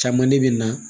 Caman de bɛ na